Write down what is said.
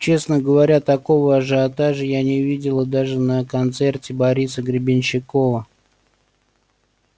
честно говоря такого ажиотажа я не видела даже на концерте бориса гребенщикова